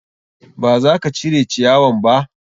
Ba za ka cire ciyawan ba?